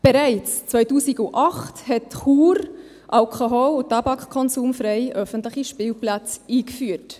Bereits 2008 hat Chur alkohol- und tabakkonsumfreie öffentliche Spielplätze eingeführt.